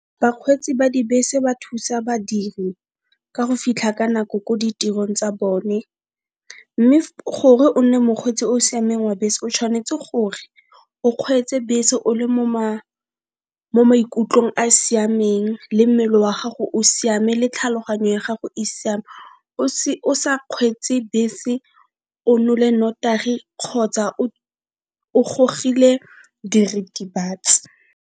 Bakgweetsi ba dibese ba thusa badiri ka go fitlha ka nako ko ditirong tsa bone, mme gore o nne mokgweetsi o siameng wa bese o tshwanetse gore o kgweetse bese o le mo maikutlong a siameng le mmele wa gago o siame le tlhaloganyo ya gago e siame, o sa kgweetse bese o nole notagi kgotsa o gogile diritibatsi.